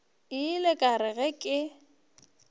ile ka re ge ke